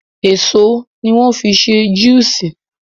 Èso ní wọ́n fí n ṣé àwọn juices